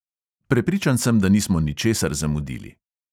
Prepričan sem, da nismo ničesar zamudili.